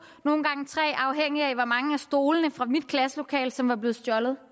nogle gange tre afhængigt af hvor mange af stolene fra mit klasselokale som var blevet stjålet